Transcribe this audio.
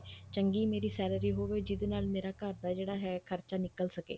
ਚੰਗੀ ਮੇਰੀ salary ਹੋਵੇ ਜਿਹਦੇ ਨਾਲ ਮੇਰਾ ਘਰ ਦਾ ਜਿਹੜਾ ਹੈ ਖਰਚਾ ਨਿਕਲ ਸਕੇ